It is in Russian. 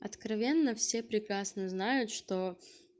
откровенно все прекрасно знают что